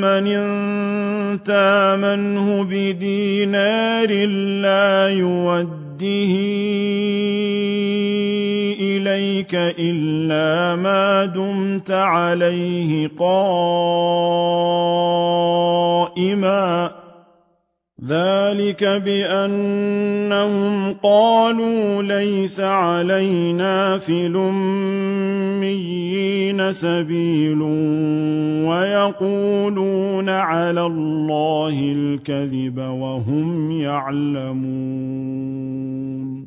مَّنْ إِن تَأْمَنْهُ بِدِينَارٍ لَّا يُؤَدِّهِ إِلَيْكَ إِلَّا مَا دُمْتَ عَلَيْهِ قَائِمًا ۗ ذَٰلِكَ بِأَنَّهُمْ قَالُوا لَيْسَ عَلَيْنَا فِي الْأُمِّيِّينَ سَبِيلٌ وَيَقُولُونَ عَلَى اللَّهِ الْكَذِبَ وَهُمْ يَعْلَمُونَ